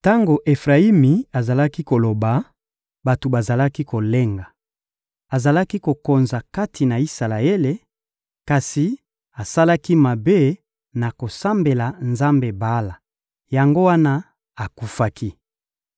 Tango Efrayimi azalaki koloba, bato bazalaki kolenga; azalaki kokonza kati na Isalaele, kasi asalaki mabe na kosambela nzambe Bala; yango wana akufaki.